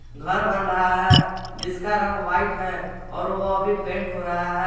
घर बन रहा है जिसका रंग व्हाइट है और वह अभी पेंट हो रहा है।